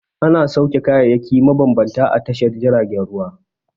Ana sauke kayayyaki mabambanta a tashar jiragen ruwa.